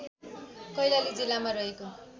कैलाली जिल्लामा रहेको